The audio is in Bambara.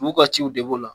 U ka ciw de b'o la